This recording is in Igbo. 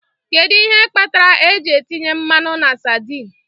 Kedu ihe kpatara eji etinye mmanụ na sardine?